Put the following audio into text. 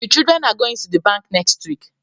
The children are goinfg to the bank next week